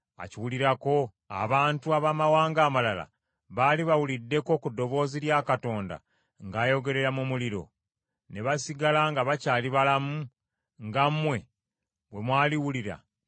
Abantu abamawanga amalala baali bawuliddeko ku ddoboozi lya Katonda ng’ayogerera mu muliro, ne basigala nga bakyali balamu, nga mmwe bwe mwaliwulira ne muba balamu?